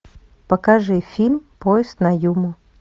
покажи фильм поезд на юму